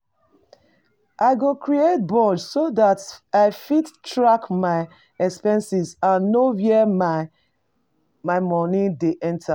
I go create budge so dat I fit track my expenses and know where my monie dey go.